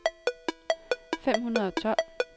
fem hundrede og tolv